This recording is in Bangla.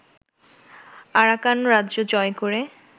আরাকান রাজ্য জয় করে